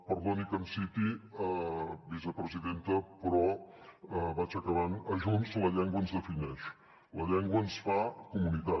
perdoni que em citi vicepresidenta però vaig acabant a junts la llengua ens defineix la llengua ens fa comunitat